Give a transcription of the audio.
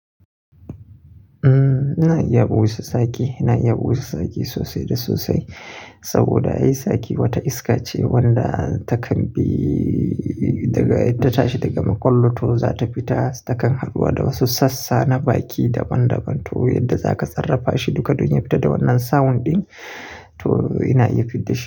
Ina iya buga wasu sake, ina iya buga wasu sake sosai da sosai saboda ai sake wata iska ce wadda takan bi daga-- ta tashi daga makwal to zata fita takan haɗuwa da wasu sassa na baki daban-daban to yadda zaka tsarrafa shi duka don ya fita da wannan sound ɗin to ina iya fidda shi.